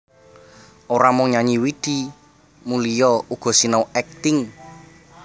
Ora mung nyanyi Widi Mulia uga sinau akting